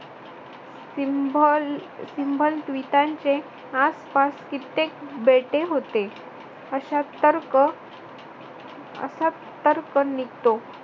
विटांचे आसपास कित्येक बेटे होते. अश्या तर्क असा तर्क निघतो.